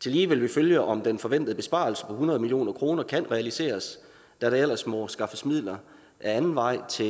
tillige vil vi følge om den forventede besparelse på hundrede million kroner kan realiseres da der ellers må skaffes midler ad anden vej til